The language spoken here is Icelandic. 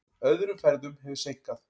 Öðrum ferðum hefur seinkað.